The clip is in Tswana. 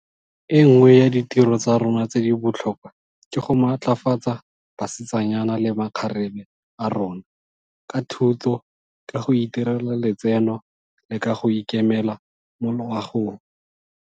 E nngwe ya ditiro tsa rona tse di botlhokwa ke go matlafatsa basetsanyana le makgarebe a rona, ka thuto, ka go itirela letseno le ka go ikemela mo loagong.